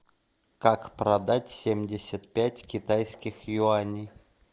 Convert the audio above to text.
как продать семьдесят пять китайских юаней